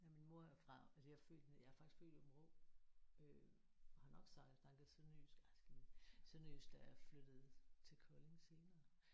Ja min mor er fra altså jeg er født nede i jeg er faktisk født i Aabenraa øh og har nok snakket sønderjysk altså sønderjysk da jeg flyttede til Kolding senere